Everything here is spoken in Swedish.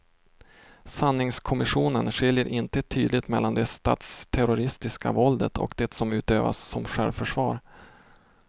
Sanningskommissionen skiljer inte tydligt mellan det statsterroristiska våldet och det som utövades som självförsvar.